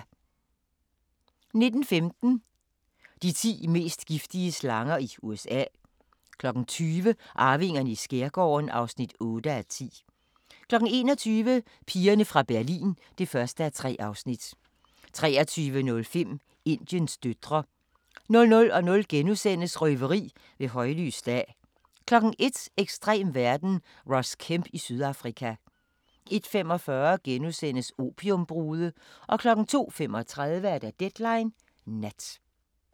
19:15: De ti mest giftige slanger i USA 20:00: Arvingerne i skærgården (8:10) 21:00: Pigerne fra Berlin (1:3) 23:05: Indiens døtre 00:00: Røveri ved højlys dag * 01:00: Ekstrem verden – Ross Kemp i Sydafrika 01:45: Opiumbrude * 02:35: Deadline Nat